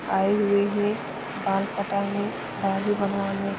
आए हुए हैं बाल कटाने दाढ़ी बनवाने।